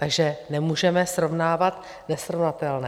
Takže nemůžeme srovnávat nesrovnatelné.